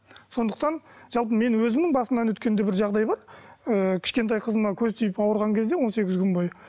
сондықтан жалпы менің өзімнің басымнан өткен де бір жағдай бар ыыы кішкентай қызыма көз тиіп ауырған кезде он сегіз күн бойы